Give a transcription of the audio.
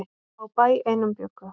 Á bæ einum bjuggu.